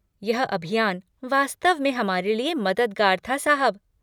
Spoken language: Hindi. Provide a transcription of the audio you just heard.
यह अभियान वास्तव में हमारे लिए मददगार था, साहब।